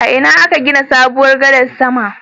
A ina aka gina sabuwar gadar sama?